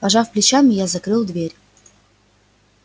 пожав плечами я закрыл дверь